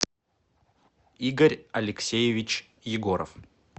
игорь алексеевич егоров